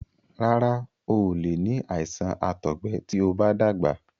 Rárá, o ò lè ní àìsàn àtọgbẹ tí o bá dàgbà.